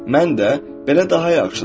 Mən də belə daha yaxşıdır.